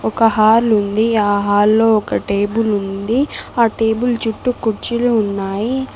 ఒక హాల్ ఉంది ఆ హాల్లో ఒక టేబుల్ ఉంది ఆ టేబుల్ చుట్టూ కుర్చీలు ఉన్నాయి.